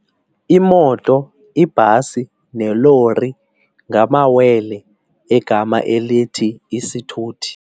Imoto, ibhasi nelori ngamawele egama elithi isithuthi.